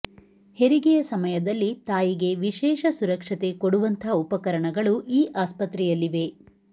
ಹೆರಿಗೆಯ ಸಮಯದಲ್ಲಿ ತಾಯಿಗೆ ವಿಶೇಷ ಸುರಕ್ಷತೆ ಕೊಡುವಂಥಾ ಉಪಕರಣಗಳು ಈ ಆಸ್ಪತ್ರೆಯಲ್ಲಿವೆ